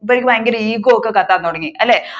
മൂപ്പർക്ക് ഭയങ്കര ego ഒക്കെ കത്താൻ തുടങ്ങി അല്ലെ